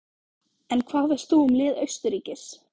En hvað veist þú um lið Austurríkis?